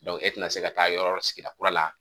e tɛna se ka taa yɔrɔ sigida kura la